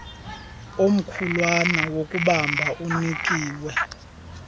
omkhulwana wokubamba unikiwe